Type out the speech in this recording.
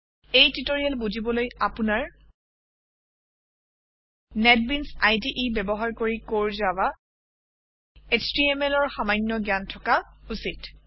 এই টিউটৰিয়েল বুজিবলৈ আপুনাৰ নেটবিনছ ইদে ব্যৱহাৰ কৰি কোৰ জাভা HTMLৰ সামান্য জ্ঞান থকা উচিত